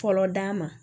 Fɔlɔ d'a ma